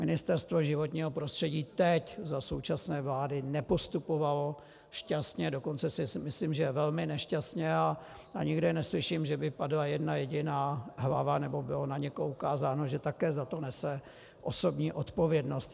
Ministerstvo životního prostředí teď, za současné vlády, nepostupovalo šťastně, dokonce si myslím, že velmi nešťastně, a nikde neslyším, že by padla jedna jediná hlava nebo bylo na někoho poukázáno, že také za to nese osobní odpovědnost.